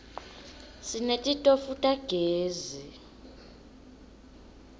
sinetitofu tagezi